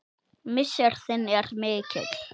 Missir þinn er mikill.